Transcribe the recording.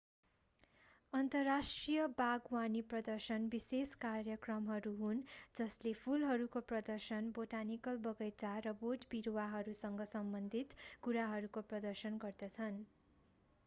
अन्तर्राष्ट्रिय बागवानी प्रदर्शन विशेष कार्यक्रमहरू हुन् जसले फूलहरूको प्रदर्शन बोटानिकल बगैँचा र बोटबिरूवासँग सम्बन्धित कुराहरूको प्रदर्शन गर्दछन्